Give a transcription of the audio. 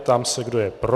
Ptám se, kdo je pro.